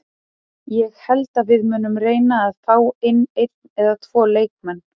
Ég held að við munum reyna fá inn einn eða tvo leikmenn.